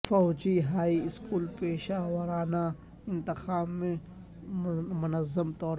فوجی high school پیشہ ورانہ انتخاب میں منظم طور پر